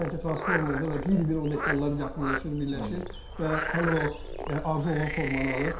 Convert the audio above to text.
Sanki transformerdir və bir-bir o detallar yaxınlaşır, birləşir və həmin o arzu olunan formanı alır.